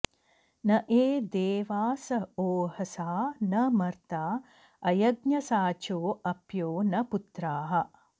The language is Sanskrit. न ये देवास ओहसा न मर्ता अयज्ञसाचो अप्यो न पुत्राः